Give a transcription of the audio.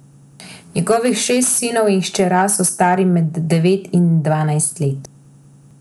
Njegovih šest sinov in hčerka so stari med devet in dvajset let.